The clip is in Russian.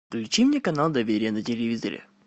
включи мне канал доверие на телевизоре